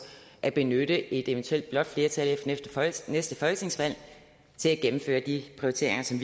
at benytte et eventuelt blåt flertal efter efter næste folketingsvalg til at gennemføre de prioriteringer som